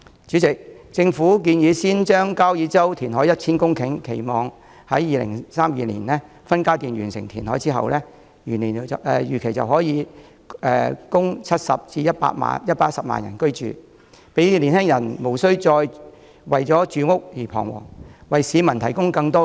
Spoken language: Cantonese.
主席，政府建議先在交椅洲填海 1,000 公頃，期望2032年起分階段完成填海後，預料可供70萬至110萬人居住，讓青年人無須再為住屋彷徨。